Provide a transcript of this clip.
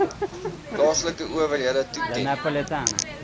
plaaslike owerhede toeken